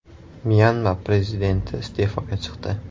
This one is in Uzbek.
Myanma prezidenti iste’foga chiqdi.